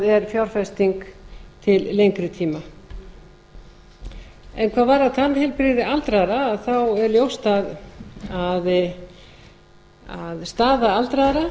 er fjárfesting til lengri tíma hvað varðar tannheilbrigði aldraðra er ljóst að staða aldraðra